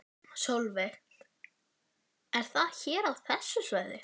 Jóni Ásbjarnarsyni gafst ekki tími til að sýta orðinn hlut.